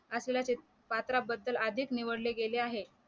पात्राबद्दल आधीच निवडले गेले आहे